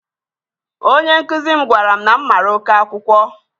Onye nkuzi m gwara m na m mara oke akwụkwọ